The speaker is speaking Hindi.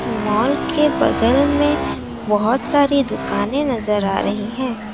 मॉल बगल में बहोत सारी दुकाने नजर आ रही है।